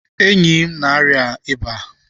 Enyi m na-arịa ịba.